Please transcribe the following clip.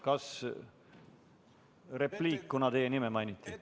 Kas soovite repliiki, kuna teie nime mainiti?